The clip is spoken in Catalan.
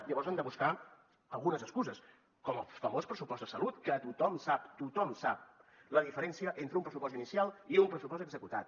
llavors han de buscar algunes excuses com el famós pressupost de salut que tothom sap tothom sap la diferència entre un pressupost inicial i un pressupost executat